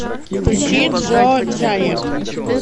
включи джо джаниак